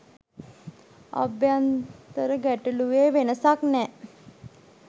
අභ්‍යන්තර ගැටළුවේ වෙනසක් නෑ